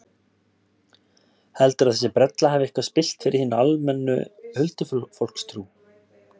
Heldurðu að þessi brella hafi eitthvað spillt fyrir hinni almennu huldufólkstrú?